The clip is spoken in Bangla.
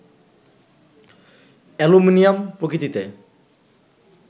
অ্যালুমিনিয়াম প্রকৃতিতে